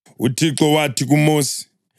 UThixo wathi kuMosi: